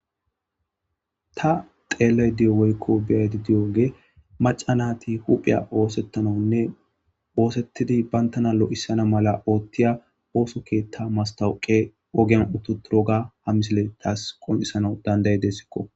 ta xeellay deyo woykko biyaydi diyooge maca naati hupheya oosettananne oosettidi bayntana lo7issana mala oothtiya ooso keethta mastawuqe ogyan ututuroga ha misile taas qon7isano danday dessikko